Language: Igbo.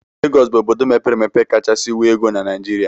Legọs bụ obodo mepere emepe kachasị nwee ego na Naijiria.